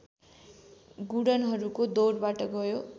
गुणनहरूको दौरबाट गयो